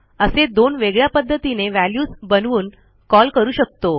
असे दोन वेगळ्या पध्दतीने व्हॅल्यूज बनवून कॉल करू शकतो